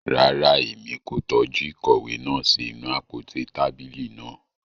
Rara, Èmí ko tọju ìkòwé náà sí inú àpótí tábìlì náà